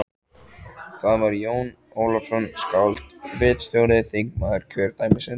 Það var Jón Ólafsson, skáld og ritstjóri, þingmaður kjördæmisins.